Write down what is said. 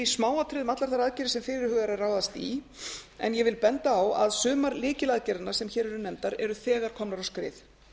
smáatriðum allar þær aðgerðir sem fyrirhugað er að ráðast í en ég vil benda á að sumar lykilagerðirnar sem hér eru nefndar eru þegar komnar á skrið